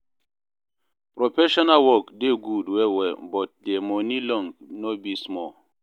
professional work dey gud well well but dia moni long no be small